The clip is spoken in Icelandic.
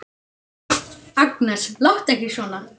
Agnes, láttu ekki svona!